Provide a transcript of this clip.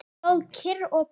Stóð svo kyrr og beið.